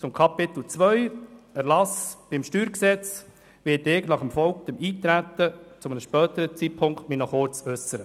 Zu Kapitel II, Erlass Steuergesetz vom 21. Mai 2000 (StG), werde ich mich nach erfolgtem Eintreten zu einem späteren Zeitpunkt kurz äussern.